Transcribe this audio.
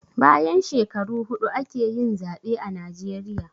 Bayan shekaru huɗu ake yin zaɓe a najeriya